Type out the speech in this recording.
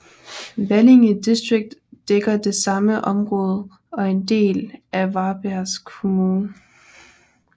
Valinge distrikt dækker det samme område og er en del af Varbergs kommun